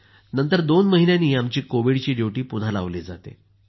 नंतर दोन महिन्यांनी आमची कोविडची ड्युटी पुन्हा लावली जाते